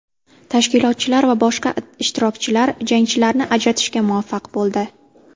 Tashkilotchilar va boshqa ishtirokchilar jangchilarni ajratishga muvaffaq bo‘ldi.